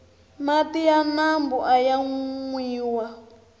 mati ya mambu aya nwiwa